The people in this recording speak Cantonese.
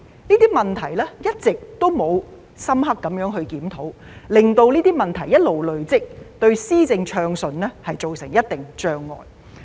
這些問題一直沒有得到深入檢討，令這些問題一直累積下去，對政府進行暢順的施政造成一定的障礙。